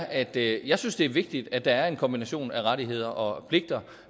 at jeg synes det er vigtigt at der er en kombination af rettigheder og pligter